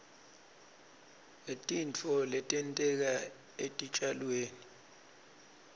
ngetitfo letenteka etitjalweni